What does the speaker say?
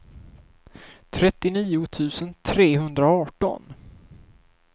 trettionio tusen trehundraarton